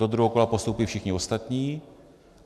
Do druhého kola postoupí všichni ostatní.